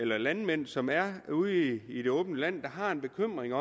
landmænd som er ude i i det åbne land der har en bekymring